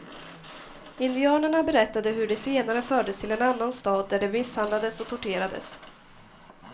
Indianerna berättade hur de senare fördes till en annan stad där de misshandlades och torterades.